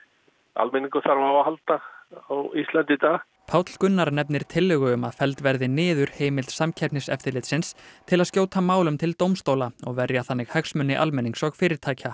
almenningur þarf á að halda á Íslandi í dag Páll Gunnar nefnir tillögu um að felld verði niður heimild Samkeppniseftirlitsins til að skjóta málum til dómstóla og verja þannig hagsmuni almennings og fyrirtækja